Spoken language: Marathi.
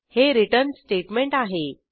हे रिटर्न स्टेटमेंट आहे